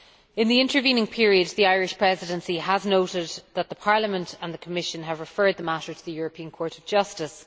In the intervening period, the Irish Presidency has noted that Parliament and the Commission have referred the matter to the European Court of Justice.